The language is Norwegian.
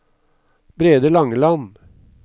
Brede Langeland